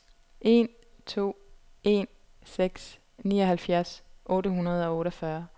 en to en seks nioghalvfjerds otte hundrede og otteogfyrre